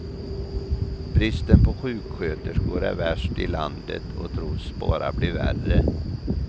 Bristen på sjuksköterskor är värst i landet och tros bara bli värre.